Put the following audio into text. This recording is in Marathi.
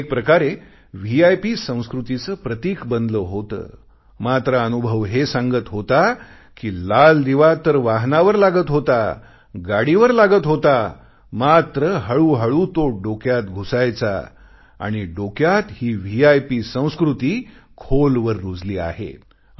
ते एक प्रकारे व्हीआयपी संस्कृतीचे प्रतीक बनले होते मात्र अनुभव हे सांगत होता कि लाल दिवा तर वाहनावर लागत होता गाडीवर लागत होता मात्र हळूहळू तो डोक्यात घुसायचा आणि डोक्यात ही व्हीआयपी संस्कृती खोलवर रुजली आहे